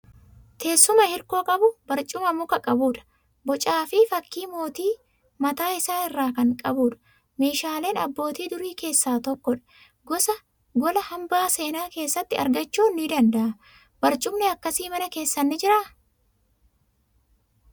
Teessuma hirkoo qabu, barcuma muka qabudha. Bocaa fi fakkii mootii mataa isaa irraa kan qabudha. Meeshaalee abbootii durii keessaa tokkodha. Gola hambaa seenaa keessatti argachuun ni danda'ama. Barcumni akkasii mana keessan ni jiraa?